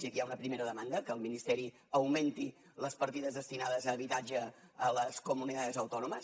i aquí hi ha una primera demanda que el ministeri augmenti les partides destinades a habitatge a les comunidades autónomas